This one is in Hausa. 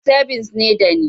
Sebins ne dani